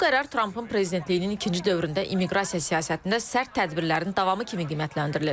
Bu qərar Trampın prezidentliyinin ikinci dövründə immiqrasiya siyasətində sərt tədbirlərin davamı kimi qiymətləndirilir.